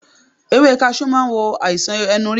Ewé kaṣú ma wo àìsàn ẹnu rírun